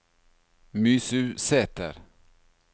Mysusæter